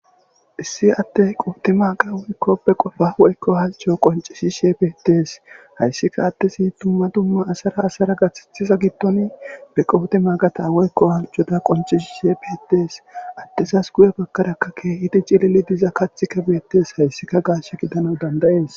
issi attey qooti maaqa woykkoppe qofa woykko hazco qoncishi she piettees hayssika attesi tumma dumma asara asara gaththethiza gittoni be qooti maaqata woykko hasjoda qoncishi she pietees adtesas guye bakkaraka keehidi cilili diza kathika biyettes hayssika gaash gidana dandayees